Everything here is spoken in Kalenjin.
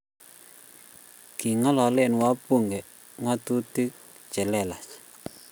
king'alale wabunge ng'otutik chelelach